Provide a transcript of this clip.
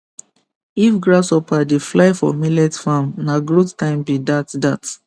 if grasshopper dey fly for millet farm na growth time be dat dat